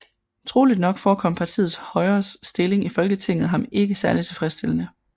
Troligt nok forekom partiets Højres stilling i Folketinget ham ikke særlig tilfredsstillende